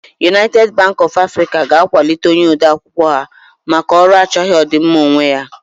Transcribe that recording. United Bank of Africa will be promoting her clerk for his selfless service